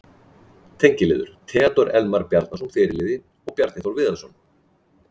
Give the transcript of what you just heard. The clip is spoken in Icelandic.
Tengiliðir: Theódór Elmar Bjarnason, fyrirliði og Bjarni Þór Viðarsson.